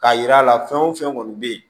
Ka yira la fɛn o fɛn kɔni bɛ yen